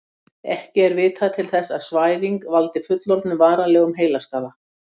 ekki er vitað til þess að svæfing valdi fullorðnum varanlegum heilaskaða